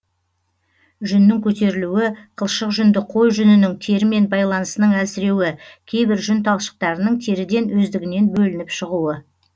жүннің көтерілуі қылшық жүнді қой жүнінің терімен байланысының әлсіреуі кейбір жүн талшықтарының теріден өздігінен бөлініп шығуы